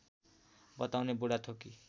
बताउने बुढाथोकी